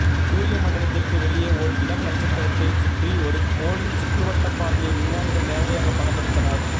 சூரியமண்டலத்திற்கு வெளியே ஓர் இளம் நட்சத்திரத்தைச் சுற்றி ஒரு கோளின் சுற்றுவட்டப்பாதையை விஞ்ஞானிகள் நேரடியாக படமெடுத்தனர்